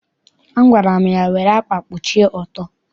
Agwara m ya, were ákwà kpuchie ọtọ!